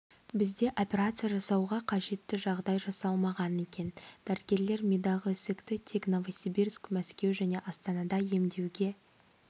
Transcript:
бізде операция жасауға қажетті жағдай жасалмаған екен дәрігерлер мидағы ісікті тек новосибирск мәскеу және астанада емдеуге